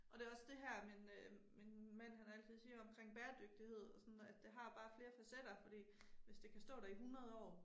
Og det også det her min øh min mand han altid siger omkring bæredygtighed og sådan at det har bare flere facetter fordi hvis det kan stå der i 100 år